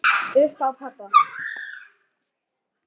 Upp á pabba.